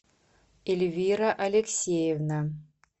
эльвира алексеевна